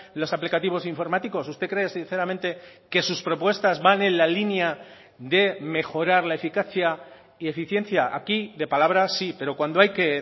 los aplicativos informáticos usted cree sinceramente que sus propuestas van en la línea de mejorar la eficacia y eficiencia aquí de palabra sí pero cuando hay que